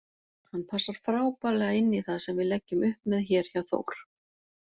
Hann passar frábærlega inní það sem við leggjum upp með hér hjá Þór.